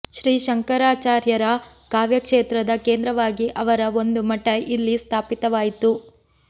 ಶ್ರೀ ಶಂಕರಾಚಾರ್ಯರ ಕಾವ್ಯಕ್ಷೇತ್ರದ ಕೇಂದ್ರವಾಗಿ ಅವರ ಒಂದು ಮಠ ಇಲ್ಲಿ ಸ್ಥಾಪಿತವಾಯಿತು